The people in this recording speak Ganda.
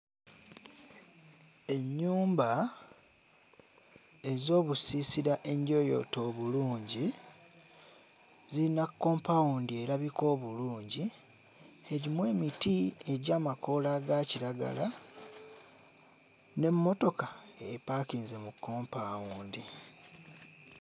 Ennyumba ez'obusiisira enjooyoote obulungi ziyina kompaawundi erabika obulungi erimu emiti egy'amakoola aga kiragala n'emmotoka epaakinze mu kompaawundi.